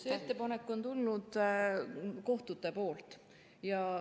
Selle ettepaneku on teinud kohtud.